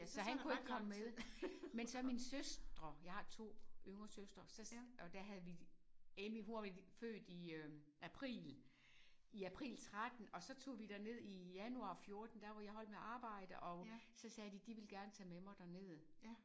Så han kunne ikke komme med. Men så mine søstre jeg har to yngre søstre så og der havde vi Emmy hun var født i april i april 13 og så tog vi derned i januar 14 der var jeg holdt med at arbejde og så sagde de de ville gerne tage med mig derned